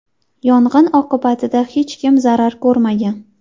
Yong‘in oqibatida hech kim zarar ko‘rmagan.